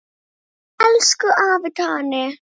Elsku afi Tani.